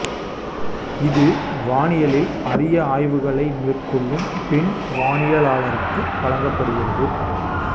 இது வானியலில் அரிய ஆய்வுகளை மேற்கொள்ளும் பெண் வானியலாளருக்கு வழங்கப்படுகிறது